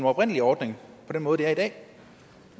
oprindelige ordning på den måde det er i dag